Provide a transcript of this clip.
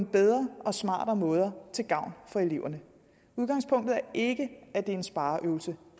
bedre og smartere måder til gavn for eleverne udgangspunktet er ikke at det er en spareøvelse